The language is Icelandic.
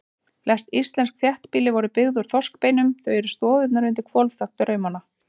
Flest íslensk þéttbýli voru byggð úr þorskbeinum, þau eru stoðirnar undir hvolfþak draumanna.